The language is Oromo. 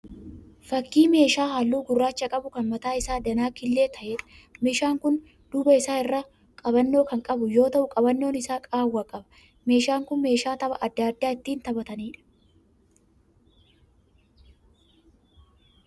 Fakkii meeshaa halluu gurraacha qabu kan mataan isaa danaa killee ta'eedha. Meeshaan kun duuba isaa irraa qabannoo kan qabu yoo ta'u qabannoon isaa qaawwaa qaba. Meeshaan kun meeshaa tapha adda addaa ittin taphataniidha.